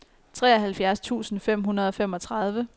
treoghalvfjerds tusind fem hundrede og femogtredive